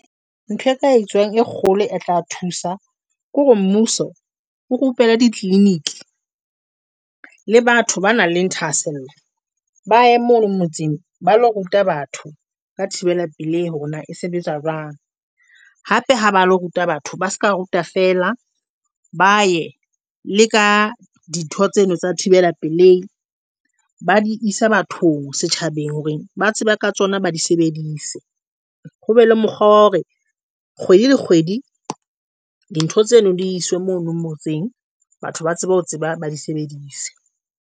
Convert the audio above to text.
Ntho e ka e tswang e kgolo e tla thusa ke hore mmuso o rupelle ditleliniki le batho ba nang le ha thahasello. Motseng ba lo ruta batho ba thibela pelehi hore na sebetsa jwang hape ha ba lo ruta batho ba se ka ruta fela ba ye le ka dintho tseno tsa thibela pelehi ba di isa bathong setjhabeng hore ba tsebe ka tsona, ba di sebedise ho be le mokgwa wa hore kgwedi le kgwedi dintho tseno di iswe mono motseng. Batho ba tsebe ho di sebedisa.